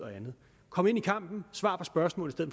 kom ind i kampen og svar på spørgsmålet